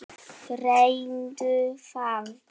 Reyndu það.